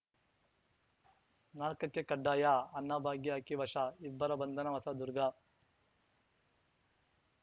ನಾಲ್ಕಕ್ಕೆಕಡ್ಡಾಯಅನ್ನಭಾಗ್ಯ ಅಕ್ಕಿ ವಶ ಇಬ್ಬರ ಬಂಧನ ಹೊಸದುರ್ಗ